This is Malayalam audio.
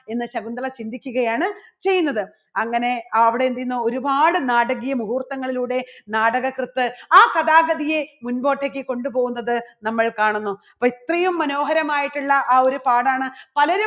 എന്ന് ശകുന്തള ചിന്തിക്കുകയാണ് ചെയ്യുന്നത്. അങ്ങനെ അവിടെ എന്ത് ചെയ്യുന്നു ഒരുപാട് നാടകീയ മുഹൂർത്തങ്ങളിലൂടെ നാടകകൃത്ത് ആ കഥാഗതിയെ മുൻപോട്ടേക്ക് കൊണ്ടുപോകുന്നത് നമ്മൾ കാണുന്നു. അപ്പോ ഇത്രയും മനോഹരമായിട്ടുള്ള ആ ഒരു പാഠാണ് പലരും